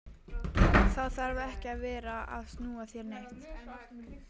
Þá þarf ég ekki að vera að snúa þér neitt.